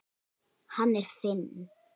Hann er þinn.